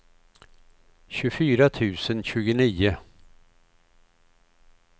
tjugofyra tusen tjugonio